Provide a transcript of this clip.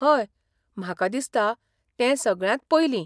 हय, म्हाका दिसता, तें सगळ्यांत पयलीं .